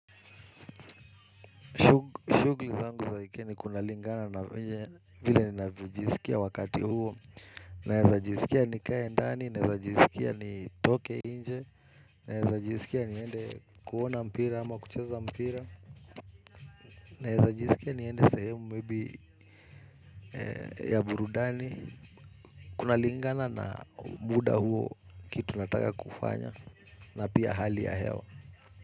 Shughli zangu za wike ni kunalingana na vile ninavyojisikia wakati huo. Naeza jisikia nikae ndani, naeza jisikia ni toke nje, naeza jisikia ni ende kuona mpira ama kucheza mpira, naeza jisikia ni ende sehemu maybe ya burudani. Kuna lingana na muda huo kitu nataka kufanya na pia hali ya hewa.